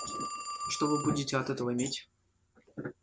что вы будете от этого иметь